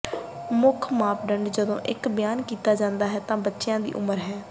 ਮੁੱਖ ਮਾਪਦੰਡ ਜਦੋਂ ਇੱਕ ਬਿਆਨ ਕੀਤਾ ਜਾਂਦਾ ਹੈ ਤਾਂ ਬੱਚਿਆਂ ਦੀ ਉਮਰ ਹੈ